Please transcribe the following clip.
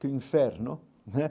Que inferno, né?